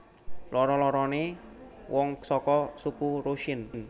Loro loroné wong saka suku Rusyn